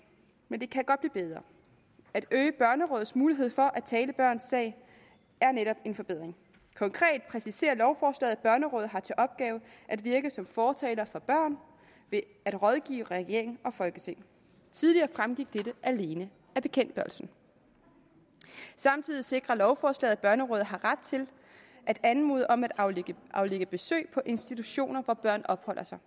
men det kan godt blive bedre at øge børnerådets mulighed for at tale børns sag er netop en forbedring konkret præciserer lovforslaget at børnerådet har til opgave at virke som fortaler for børn ved at rådgive regering og folketing tidligere fremgik dette alene af bekendtgørelsen samtidig sikrer lovforslaget at børnerådet har ret til at anmode om at aflægge aflægge besøg på institutioner hvor børn opholder sig